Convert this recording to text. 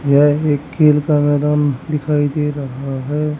यह एक खेल का मैदान दिखाई दे रहा है।